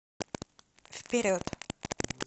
вперед